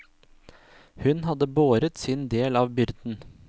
Hun hadde båret sin del av byrden.